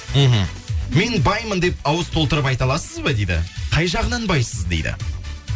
мхм мен баймын деп ауыз толтырып айта аласыз ба дейді қай жағынан байсыз дейді